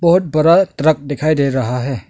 बहुत बड़ा ट्रक दिखाई दे रहा है।